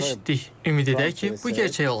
Ümid edək ki, bu gerçək olar.